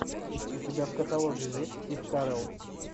у тебя в каталоге есть стив карелл